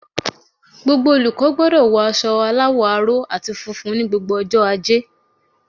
Gbogbo olùkó gbodò wo aso aláwò aró àti funfun ní gbogbo ojó ajé